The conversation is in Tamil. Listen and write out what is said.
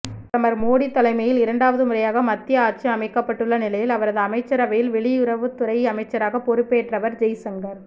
பிரதமர் மோடி தலைமையில் இரண்டாவது முறையாக மத்தியில் ஆட்சி அமைக்கப்பட்டுள்ள நிலையில் அவரது அமைச்சரவையில் வெளியுறவுத்துறை அமைச்சராக பொறுப்பெற்றவர் ஜெய்சங்கர்